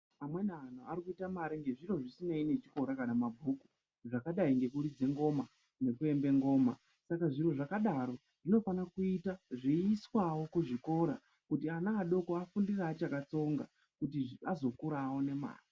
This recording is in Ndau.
Amweni anhu arikuite mare ngenzviro zvisinei nechikora kanamabhuku. Zvakadai nekuridze ngoma nekuembe ngoma. Saka zviro zvakadaro zvinofana kuita zveiiswawo kuzvikora kuti ana adoko afundire achakatsonga kuti azokura aone mare.